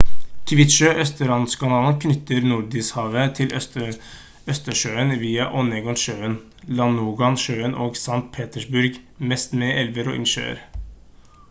kvitsjø-østersjøkanalen knytter nordishavet til østersjøen via onega-sjøen ladoga-sjøen og st petersburg mest med elver og innsjøer